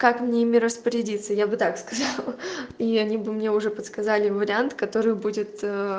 как мне ими распорядиться я бы так сказала ха-ха и они бы мне уже подсказали вариант который будет